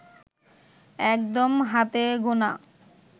একদম হাতে গোনা